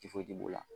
b'o la